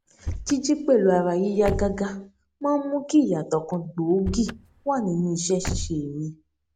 jíjí pẹlú ara yíyá gágá máa ń mú kí ìyàtọ kan gbòógì wà nínú iṣẹ ṣíṣe mi